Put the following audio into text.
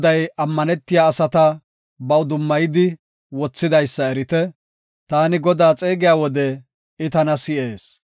Goday ammanetiya asata baw dummayidi wothidaysa erite; taani Godaa xeegiya wode I tana si7ees.